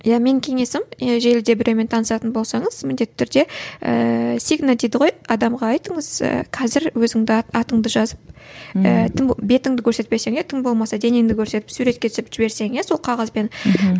иә менің кеңесім желіде біреумен танысатын болсаңыз міндетті түрде ііі сигна дейді ғой адамға айтыңыз ы қазір өзіңді атыңды жазып ііі бетіңді көрсетпесең иә тым болмаса денеңді көрсетіп суретке түсіріп жіберсең иә сол қағазбен мхм